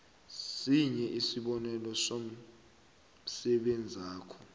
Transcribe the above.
sinye isibonelo somsebenzakho